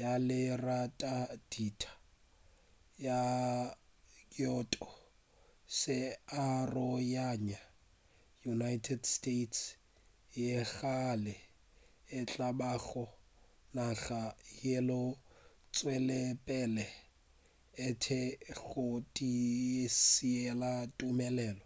ya leratadima la kyoto se aroganya united states yeo gabjale e tla bago naga yeo e tšwetšegopele e le tee ya go se tiišetše tumelelo